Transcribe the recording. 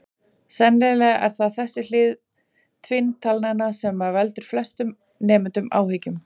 Sennilega er það þessi hlið tvinntalnanna sem veldur flestum nemendum áhyggjum.